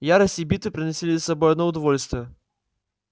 ярость и битвы приносили с собой одно удовольствие